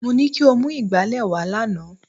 Mo ní kí o mú ìgbálẹ̀ wá lánàá